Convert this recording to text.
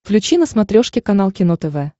включи на смотрешке канал кино тв